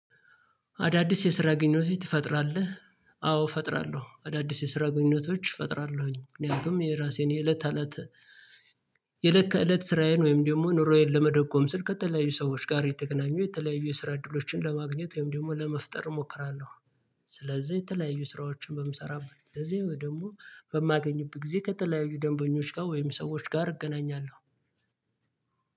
አዳዲስ የስራ ግኞቶች ትፈጥራለህ? አዎ እፈጥራለሁ አዳዲስ የስራ ግንኞቶች እፈጥራለሁኝ ምክንያቱም የራሴን የእለት አለት የእለት ከእለት ስራዬን ወይም ደግሞ ኑሮዬን ለመደጎም ስል ከተለያዩ ሰዎች ጋር የተገናኙ የተለያዩ ስራ እድሎችን ለማግኘት ወይም ደግሞ ለመፍጠር እሞክራለሁ። ስለዚህ የተለያዩ ስራዎችን በምሰራበት እዚህ ደግሞ በማገኝበት ጊዜ ከተለያዩ ደንበኞች ጋር ወይም ሰዎች ጋር እገናኛለሁ።